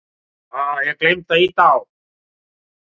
Guðrún Rafnsdóttir rétti honum hönd í kveðjuskyni og þagnaði þá skarinn.